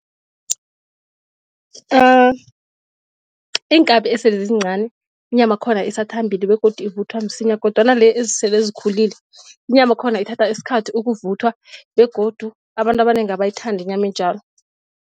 Iinkabi esele zizincani inyamakhona isathambile begodu ivuthwa msinya kodwana le ezisele zikhulile inyamakhona ithatha isikhathi ukuvuthwa begodu abantu abanengi abayithanda inyama enjalo.